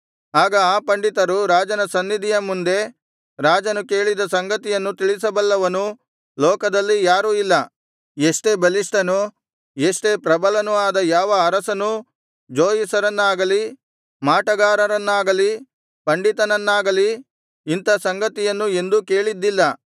ಆಗ ಆ ಪಂಡಿತರು ರಾಜನ ಸನ್ನಿಧಿಯ ಮುಂದೆ ರಾಜನು ಕೇಳಿದ ಸಂಗತಿಯನ್ನು ತಿಳಿಸಬಲ್ಲವನು ಲೋಕದಲ್ಲಿ ಯಾರೂ ಇಲ್ಲ ಎಷ್ಟೇ ಬಲಿಷ್ಠನು ಎಷ್ಟೇ ಪ್ರಬಲನು ಆದ ಯಾವ ಅರಸನೂ ಜೋಯಿಸರನ್ನಾಗಲಿ ಮಾಟಗಾರನನ್ನಾಗಲಿ ಪಂಡಿತನನ್ನಾಗಲಿ ಇಂಥ ಸಂಗತಿಯನ್ನು ಎಂದೂ ಕೇಳಿದ್ದಿಲ್ಲ